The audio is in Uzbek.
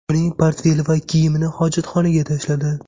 Uning portfeli va kiyimini hojatxonaga tashladi.